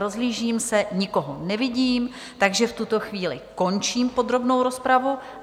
Rozhlížím se, nikoho nevidím, takže v tuto chvíli končím podrobnou rozpravu.